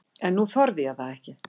En nú þorði ég það ekki.